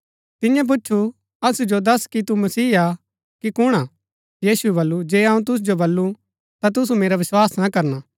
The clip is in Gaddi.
तियें पुछु असु जो दस कि तू मसीह हा कि कुण हा यीशुऐ बल्लू जे अऊँ तुसु जो बल्लू ता तुसु मेरा विस्वास ना करना